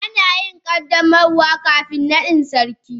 Ana yin qaddamarwa kafin naɗin sarki.